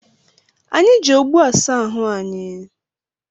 Anyị ji ogbo asa ahụ anyị